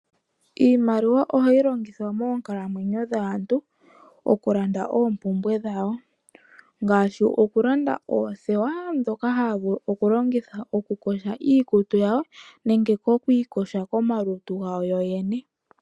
Iimaliwa ohayi longithwa moonkalamwenyo dhaantu okulanda opumbwe dhawo ngashi okulanda oothewa dhoka havulu okulongitha okukosha iikutu yawo nenge okukosha komaluntu gawo yoyene.